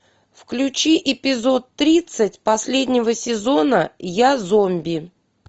включи эпизод тридцать последнего сезона я зомби